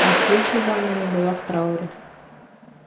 ах если бы она не была в трауре